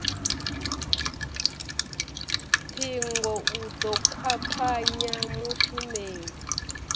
ṱhingo u ḓo kwakwanya mushumeli